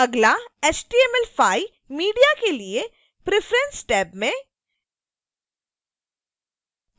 अगला html5 media के लिए preference टैब में